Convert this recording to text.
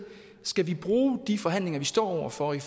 skal bruge de forhandlinger vi står over for i